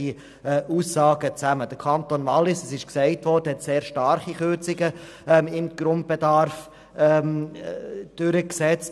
Wie bereits erwähnt hat der Kanton Wallis sehr starke Kürzungen beim Grundbedarf vorgenommen.